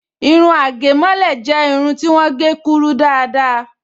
Irun àgẹ̀mọ́lẹ̀ jẹ́ irun ti wọ́n gé kúrú dáadáa